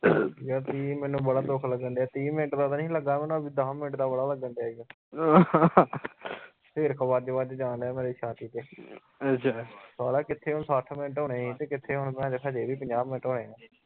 ਯਾਰ ਮੈਨੂੰ ਬੜਾ ਦੁੱਖ ਲੱਗਣ ਦਿਆ ਤੀਹ ਮਿੰਟ ਦਾ ਤਾ ਨਹੀਂ ਹੀ ਲੱਗਾ ਮੈਨੂੰ ਦੱਸ ਮਿੰਟ ਦਾ ਬੜਾ ਲੱਗਣ ਦਿਆ ਈਓ ਹਿਰਕ਼ ਵੱਜ ਵੱਜ ਜਾਣਦਿਆਂ ਮੇਰੀ ਛਾਤੀ ਚ ਸਾਲਿਆ ਕਿੱਥੇ ਹੁਣ ਸੱਠ ਮਿੰਟ ਹੋਣੇ ਸੀ ਤੇ ਕਿਥੇ ਹੁਣ ਭੈਣਚੋਦ ਹਜੇ ਵੀ ਪੰਜਾਹ ਮਿੰਟ ਹੋਏ।